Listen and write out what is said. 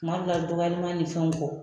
Kuma dɔw la, dɔgɔyaliman nin fɛnw kɔ